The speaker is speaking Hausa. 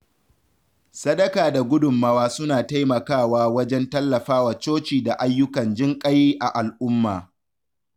Sadaka da gudunmawa suna taimakawa wajen tallafawa coci da ayyukan jinƙai a al’umma.